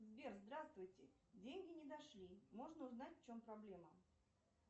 сбер здравствуйте деньги не дошли можно узнать в чем проблема